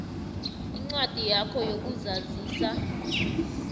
incwadi yakho yokuzazisa